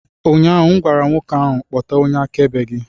Ụnyaahụ m gwara nwoke ahụ, kpọta onye akaebe gị!